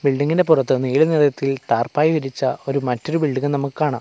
ബിൽഡിങ്ങിന്റെ പൊറത്ത് നീല നിറത്തിൽ ടാർപ്പായി വിരിച്ച ഒരു മറ്റൊരു ബിൽഡിങ്ങും നമുക്ക് കാണാം.